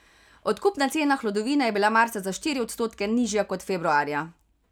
Odkupna cena hlodovine je bila marca za štiri odstotke nižja kot februarja.